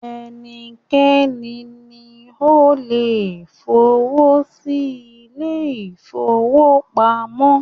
Ẹnikẹ́ni ni o le f'owọ sí ilé-ìfowópamọ́